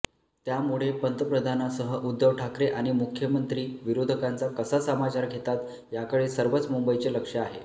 त्यामुळे पंतप्रधानांसह उध्दव ठाकरे आणि मुख्यमंत्री विरोधकांचा कसा समाचार घेतात याकडे सर्वच मुंबईचे लक्ष आहे